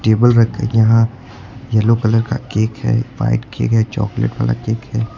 Table रखकर के यहा येलो कलर का केक है व्हाइट केक है चॉकलेट वाला केक है।